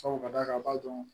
Sabu ka d'a kan a b'a dɔn